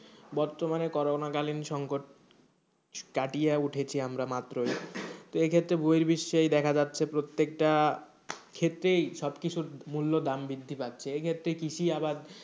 বর্তমানে করোনা কালীন সংকট কাটিয়া উঠেছি আমরা মাত্র এই ক্ষেত্রে বহির্বিশ্বে, তো এই দেখা যাচ্ছে প্রত্যেকটা ক্ষেত্রেই সব কিছুর মূল্য দাম বৃদ্ধি পাচ্ছে, এই ক্ষেত্রে কৃষি আবাদ,